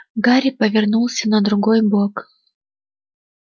гарри повернулся на другой бок